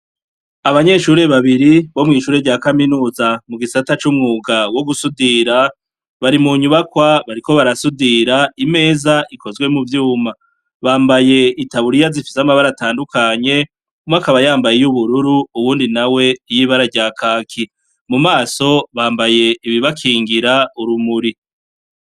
Abanyeshuri babiri bo mw'ishure rya kaminuza mugisata c'umwuga wo gusudira ,bari mu nyubakwa bariko barasudira imeza ikozwe mu vyuma, bambaye itaburiya zifis'amabara atandukanye, umwe akaba yambaye iry'ubururu uwundi nawe iy'ibara rya Kaki, mu maso bambaye ibibakingira urumuri.